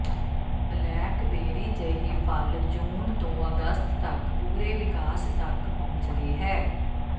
blackberry ਜਿਹੀ ਫ਼ਲ ਜੂਨ ਤੋਂ ਅਗਸਤ ਤਕ ਪੂਰੇ ਵਿਕਾਸ ਤਕ ਪਹੁੰਚਦੀ ਹੈ